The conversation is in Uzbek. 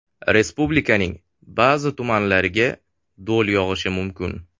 Respublikaning ba’zi tumanlariga do‘l yog‘ishi mumkin.